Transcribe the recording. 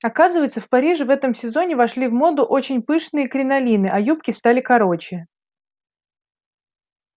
оказывается в париже в этом сезоне вошли в моду очень пышные кринолины а юбки стали короче